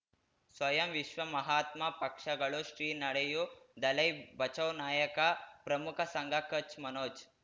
ಸ್ವಯಂ ವಿಶ್ವ ಮಹಾತ್ಮ ಪಕ್ಷಗಳು ಶ್ರೀ ನಡೆಯೂ ದಲೈ ಬಚೌ ನಾಯಕ ಪ್ರಮುಖ ಸಂಘ ಕಚ್ ಮನೋಜ್